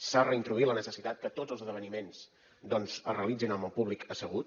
s’ha reintroduït la necessitat que tots els esdeveniments doncs es realitzin amb el públic assegut